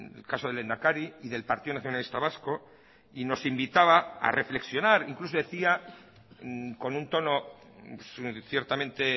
el caso del lehendakari y del partido nacionalista vasco y nos invitaba a reflexionar incluso decía con un tono ciertamente